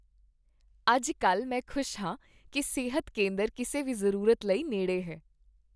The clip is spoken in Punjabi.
ਅੱਜ ਕੱਲ੍ਹ ਮੈਂ ਖੁਸ਼ ਹਾਂ ਕੀ ਸਿਹਤ ਕੇਂਦਰ ਕਿਸੇ ਵੀ ਜ਼ਰੂਰਤ ਲਈ ਨੇੜੇ ਹੈ ।